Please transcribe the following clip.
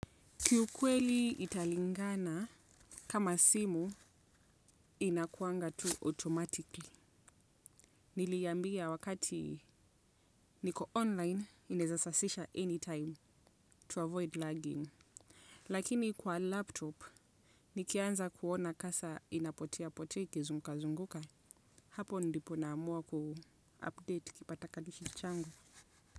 Kiukweli italingana kama simu, inakuwanga tu "automatically". Niliiambia wakati niko "online", inawezasafisha "anytime to avoid lagging". Lakini kwa "laptop", nikianza kuona kasa inapoteapotea ikikizungukazunguka. Hapo ndipo naamua ku-update kipata kadushi changu.